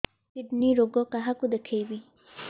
kidney ରୋଗ କାହାକୁ ଦେଖେଇବି